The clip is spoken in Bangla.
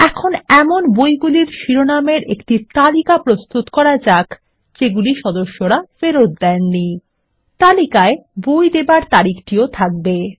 এখন এমন বইগুলির শিরোনামের একটি তালিকা প্রস্তুত করা যাক যেগুলি সদস্যরা ফেরত দেননি তালিকায় বই দেবার তারিখটিও থাকবে